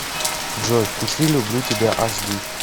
джой включи люблю тебя аш ди